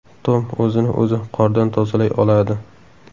Tom o‘zini o‘zi qordan tozalay oladi.